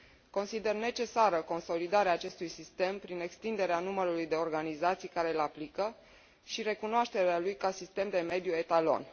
Consider necesară consolidarea acestui sistem prin extinderea numărului de organizații care îl aplică și recunoașterea lui ca sistem de mediu etalon.